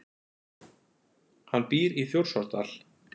Hann býr í Þjórsárdal.